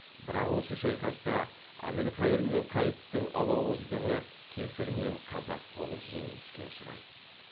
бірақ осы шайқаста әбілхайыр мен қайыптың алауыздығы кесірінен қазақ қолы жеңіліске ұшырайды